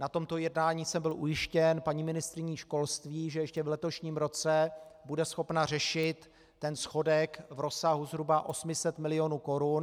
Na tomto jednání jsem byl ujištěn paní ministryní školství, že ještě v letošním roce bude schopna řešit ten schodek v rozsahu zhruba 800 milionů korun.